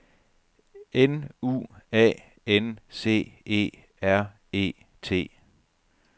N U A N C E R E T